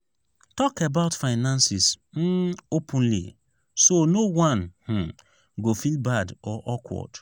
talk about finances um openly so no one um go feel bad or awkward.